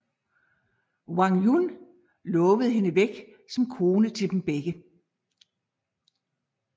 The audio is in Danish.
Wang Yun lovede hende væk som kone til dem begge